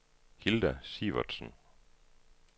Hilda Sivertsen